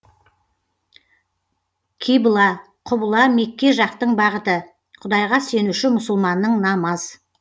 кибла құбыла мекке жақтың бағыты құдайға сенуші мұсылманның намаз